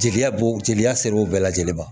Jeliya b'o jeliya ser'o bɛɛ lajɛlen ma